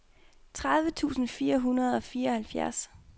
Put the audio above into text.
tredive tusind fire hundrede og fireoghalvfjerds